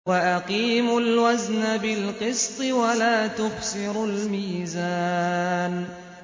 وَأَقِيمُوا الْوَزْنَ بِالْقِسْطِ وَلَا تُخْسِرُوا الْمِيزَانَ